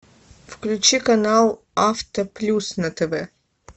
включи канал авто плюс на тв